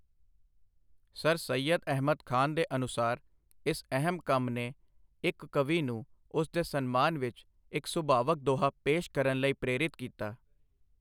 Sir Syed Ahmad Khan ਦੇ ਅਨੁਸਾਰ, ਇਸ ਅਹਿਮ ਕੰਮ ਨੇ ਇੱਕ ਕਵੀ ਨੂੰ ਉਸ ਦੇ ਸਨਮਾਨ ਵਿੱਚ ਇੱਕ ਸੁਭਾਵਕ ਦੋਹਾ ਪੇਸ਼ ਕਰਨ ਲਈ ਪ੍ਰੇਰਿਤ ਕੀਤਾ।